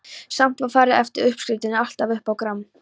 Samt var farið eftir uppskriftinni, alltaf upp á gramm.